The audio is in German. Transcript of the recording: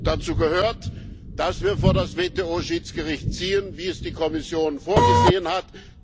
Dazu gehört, dass wir vor das WTO Schiedsgericht ziehen, wie es die Kommission vorgesehen hat.